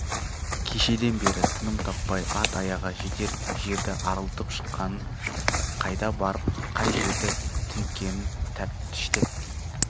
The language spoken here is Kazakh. кешеден бері тыным таппай ат аяғы жетер жерді арылтып шыққанын қайда барып қай жерді тінткенін тәптіштеп